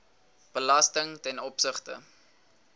belasting ten opsigte